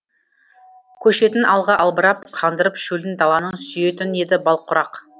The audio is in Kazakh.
көшетін алға албырап қандырып шөлін даланың сүйетін еді бал құрақ